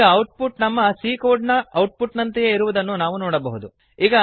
ಈ output ನಮ್ಮ c code ನ ಔಟ್ ಪುಟ್ ನಂತೆಯೇ ಇರುವುದನ್ನು ನಾವು ನೋಡಬಹುದು